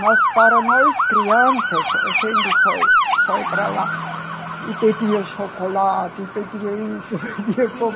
Mas para nós crianças, a gente foi, foi para lá e pedia chocolate, pedia isso, pedia